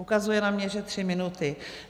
Ukazuje na mě, že tři minuty.